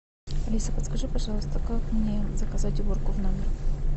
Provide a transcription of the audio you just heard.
алиса подскажи пожалуйста как мне заказать уборку в номер